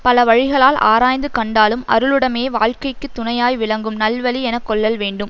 பலவழிகளால் ஆராய்ந்து கண்டாலும் அருள் உடைமையே வாழ்க்கைக்கு துணையாய் விளங்கும் நல்வழி என கொள்ளல் வேண்டும்